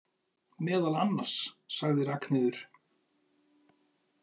Meðal annars, sagði Ragnheiður.